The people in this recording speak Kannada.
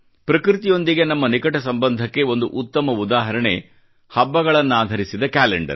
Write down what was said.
ಪ್ರಕೃತಿಯೊಂದಿಗೆ ನಮ್ಮ ನಿಕಟ ಸಂಬಂಧಕ್ಕೆ ಒಂದು ಉತ್ತಮ ಉದಾಹರಣೆ ಹಬ್ಬಗಳನ್ನಾಧರಿಸಿದ ಕ್ಯಾಲೆಂಡರ್